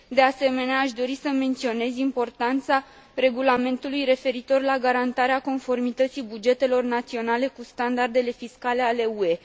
De asemenea, aș dori să menționez importanța regulamentului referitor la garantarea conformității bugetelor naționale cu standardele fiscale ale UE.